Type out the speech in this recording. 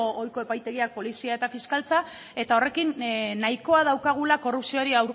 ohiko epaitegiak polizia eta fiskaltza eta horrekin nahikoa daukagula korrupzioari